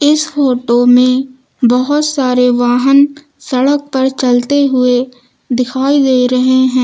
इस फोटो में बहोत सारे वाहन सड़क पर चलते हुए दिखाई दे रहे हैं।